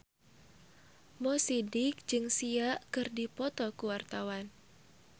Mo Sidik jeung Sia keur dipoto ku wartawan